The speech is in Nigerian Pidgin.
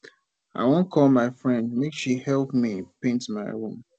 i wan call my friend make she help me paint my room